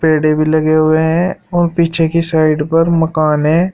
पेड़े भी लगे हुए है और पीछे की साइड पर मकान है।